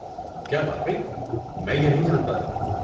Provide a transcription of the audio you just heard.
کیا واقعی؟ میں یہ نہیں جانتا تھا!